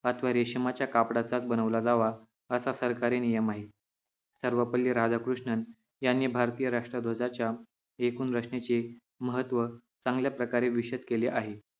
अथवा रेशमाच्या कापडाचाच बनवला जावा असा सरकारी नियम आहे सर्वपल्ली राधाकृष्णन यांनी भारतीय राष्ट्रद्वाजाच्या एकूण रचनेचे महत्व चांगल्या प्रकारे विशद केले आहे